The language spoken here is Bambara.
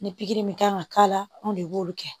Ni pikiri min kan ka k'a la anw de b'olu kɛ